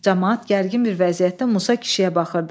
Camaat gərgin bir vəziyyətdə Musa kişiyə baxırdı.